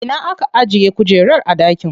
Ina aka ajiye kujerar a dakin?